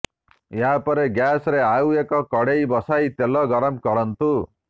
ଏହା ପରେ ଗ୍ୟାସରେ ଆଉ ଏକ କଡ଼େଇ ବସାଇ ତେଲ ଗରମ କରନ୍ତୁ